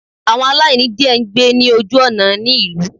Àwọn aláìní diẹ ngbé ní ojú òná ní ìlú